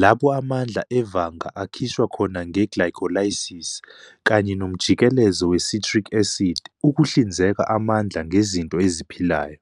lapho amandla evanga akhishwa khona "nge-glycolysis" kanye nomjikelezo we"citric acid" ukuhlinzeka amandla ngezinto eziphilayo.